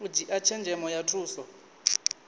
u dzhia tshenzhemo ya thusa